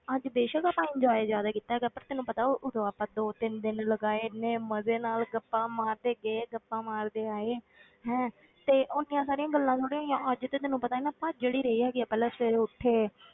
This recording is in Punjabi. ਅੱਜ ਬੇਸ਼ਕ ਆਪਾਂ enjoy ਜ਼ਿਆਦਾ ਕੀਤਾ ਹੈਗਾ, ਪਰ ਤੈਨੂੰ ਪਤਾ ਉਦੋਂ ਆਪਾਂ ਦੋ ਤਿੰਨ ਦਿਨ ਲਗਾਏ, ਇੰਨੇ ਮਜ਼ੇ ਨਾਲ ਗੱਪਾਂ ਮਾਰਦੇ ਗਏ, ਗੱਪਾਂ ਮਾਰਦੇ ਆਏ ਹੈਂ ਤੇ ਓਨੀਆਂ ਸਾਰੀਆਂ ਗੱਲਾਂ ਥੋੜ੍ਹੀ ਹੈਗੀਆਂ, ਅੱਜ ਤੇ ਤੈਨੂੰ ਪਤਾ ਹੈ ਨਾ ਭਾਜੜ ਹੀ ਰਹੀ ਹੈਗੀ ਆ ਪਹਿਲਾਂ ਸਵੇਰੇ ਉੱਠੇ,